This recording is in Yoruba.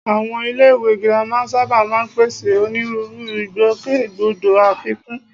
Àwọn iléèwé girama sábà máa ń pèsè onírúurú ìgbòkègbodò àfikún